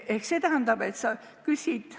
Ehk see tähendab seda, et sa küsid.